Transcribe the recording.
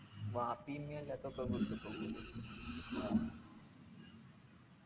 വാത്തി എത്ര